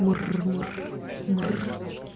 мур-мур-мур